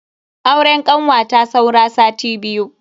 Auren kanwata saura sati biyu.